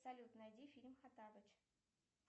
салют найди фильм хоттабыч